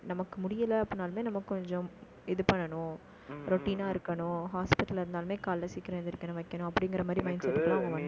நமக்கு முடியலை, அப்படின்னாலுமே, நமக்கு கொஞ்சம், இது பண்ணணும் routine ஆ இருக்கணும், hospital ல இருந்தாலுமே, காலையில சீக்கிரம் எழுந்திரிக்கணும், வைக்கணும், அப்படிங்கிற மாதிரி mindset ல வண்டாங்க